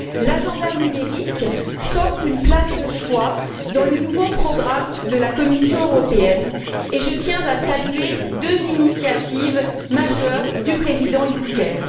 L'agenda numérique s'offre une place de choix dans le nouveau programme de la Commission européenne, et je tiens à saluer deux initiatives majeures du président Juncker.